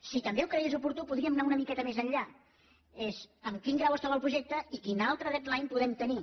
si també ho cregués oportú podríem anar una miqueta més enllà que és en quin grau es troba el projecte i quin altre deadline podem tenir